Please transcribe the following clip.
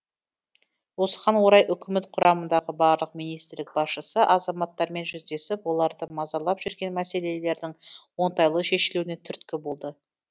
осыған орай үкімет құрамындағы барлық министрлік басшысы азаматтармен жүздесіп оларды мазалап жүрген мәселелердің оңтайлы шешілуіне түрткі болды